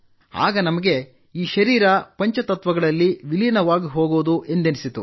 ಆಗ ನಮಗೆ ಈ ಶರೀರ ಪಂಚತತ್ವಗಳಲ್ಲಿ ವಿಲೀನವಾಗಿಹೋಗುವುದು ಎಂದೆನಿಸಿತು